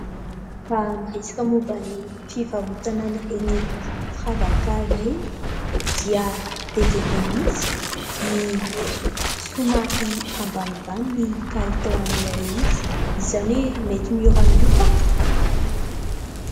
Raha miresaka momba ny fivarotana an'ireny firavaka ireny, dia be dia be mihitsy ny somary ambanimbany ny kalitaon'ilay izy, izany hoe mety mora miofaka.